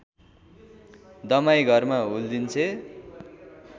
दमाई घरमा हुल्दिन्छे